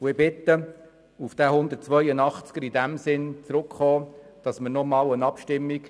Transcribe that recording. Ich bitte, auf diesen Artikel zurückzukommen und erneut darüber abzustimmen.